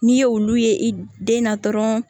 N'i ye olu ye i den na dɔrɔn